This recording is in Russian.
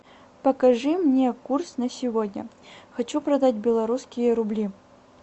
покажи мне курс на сегодня хочу продать белорусские рубли